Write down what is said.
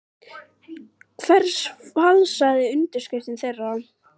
Ég spyr því: Hver falsaði undirskriftir þeirra?